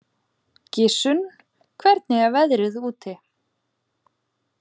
Gissunn, hvernig er veðrið úti?